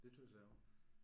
Det synes jeg også